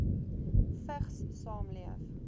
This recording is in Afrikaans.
vigs saamleef